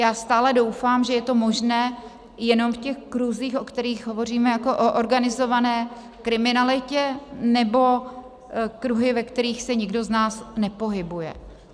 Já stále doufám, že je to možné jenom v těch kruzích, o kterých hovoříme jako o organizované kriminalitě, nebo kruhy, ve kterých se nikdo z nás nepohybuje.